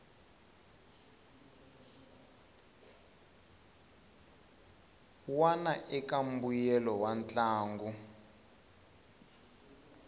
wana eka mbuyelo wa ntlangu